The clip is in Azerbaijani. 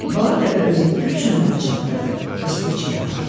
Bala dəvə özünü güclə ora çatdırdı və su içməyə başladı.